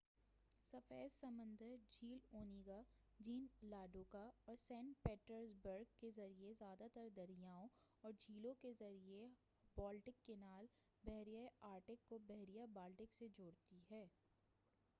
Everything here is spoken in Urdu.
سفید سمندر جھیل اونیگا جھیل لاڈوگا اور سینٹ پیٹرز برگ کے ذریعہ زیادہ تر دریاؤں اور جھیلوں کے ذریعہ بالٹک کینال بحیرہ آرکٹک کو بحیرہ بالٹک سے جوڑتی ہے